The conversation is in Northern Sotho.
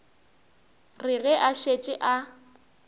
re ge a šetše a